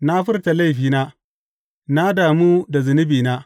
Na furta laifina; na damu da zunubina.